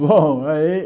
Bom, aí...